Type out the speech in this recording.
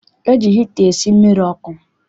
E ji hita esi mmiri ọkụ.